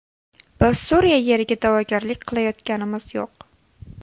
Biz Suriya yeriga da’vogarlik qilayotganimiz yo‘q.